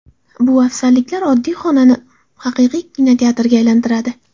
Bu afzalliklar oddiy xonani haqiqiy kinoteatrga aylantiradi.